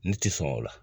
Ne ti sɔn o la